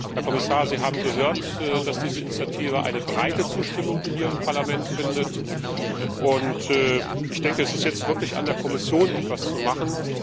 Herr Kommissar, Sie haben gehört, dass diese Initiative eine breite Zustimmung hier im Parlament findet. Ich denke, es ist jetzt wirklich an der Kommission, etwas zu machen.